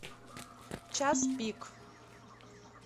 час пик